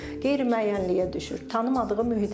Qeyri-müəyyənliyə düşür, tanımadığı mühitə gəlir uşaq.